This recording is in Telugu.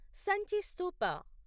సంచి స్తూప